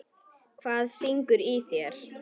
Hvað syngur í þér?